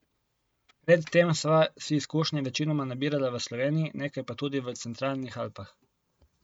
Pred tem sva si izkušnje večinoma nabirala v Sloveniji, nekaj pa tudi v centralnih Alpah.